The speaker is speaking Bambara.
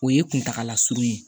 O ye kuntagala surun ye